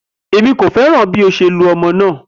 Emi ko fẹran bi o ṣe lu ọmọ naa